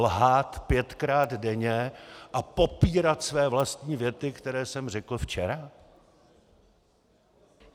Lhát pětkrát denně a popírat své vlastní věty, které jsem řekl včera?